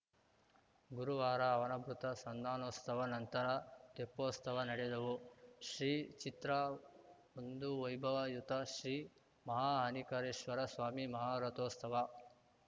ಗುರುವಾರ ಅವಭೃತ ಸಂದಾನೋಸ್ತವ ನಂತರ ತೆಪ್ಪೋಸ್ತವ ನಡೆದವು ಶ್ರೀಚಿತ್ರಒಂದು ವೈಭವಯುತ ಶ್ರೀ ಮಲಹಾನಿಕರೇಶ್ವರ ಸ್ವಾಮಿ ಮಹಾರಥೋಸ್ತವ